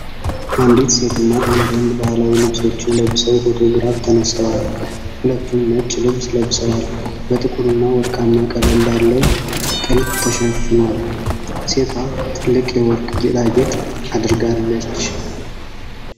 አንዲት ሴትና አንድ ወንድ ባህላዊ ልብሶችን ለብሰው ፎቶግራፍ ተነስተዋል። ሁለቱም ነጭ ልብስ ለብሰዋል፣ በጥቁርና ወርቃማ ቀለም ባለው ጥልፍ ተሸፍኗል። ሴቷ ትልቅ የወርቅ ጌጣጌጥ አድርጋለች።